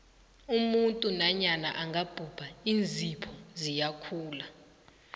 umuntu nanyana angabhubha iinzipho ziyakhula